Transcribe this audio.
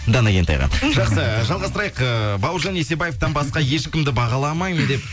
дана кентайға жақсы жалғастырайық ыыы бауыржан есебаевтан басқа ешкімді бағаламаймын деп